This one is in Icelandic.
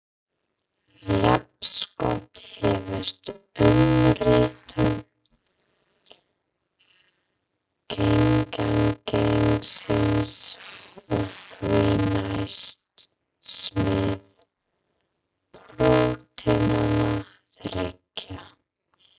Jafnskjótt hefst umritun genagengisins og því næst smíð prótínanna þriggja.